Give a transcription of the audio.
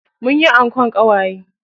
Munyi ankon ƙawaye.